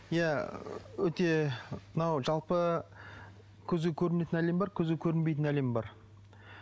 иә өте мынау жалпы көзге көрінетін әлем бар көзге көрінбейтін әлем бар